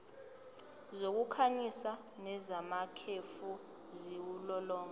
zokukhanyisa nezamakhefu ziwulolonga